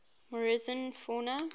morrison fauna